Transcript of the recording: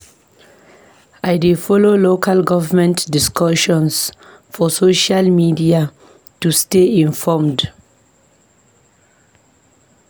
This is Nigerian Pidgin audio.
I dey follow local government discussions for social media to stay informed.